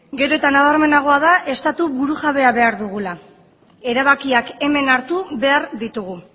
gero eta nabarmenagoa da estatu burujabea behar dugula erabakiak hemen hartu behar ditugu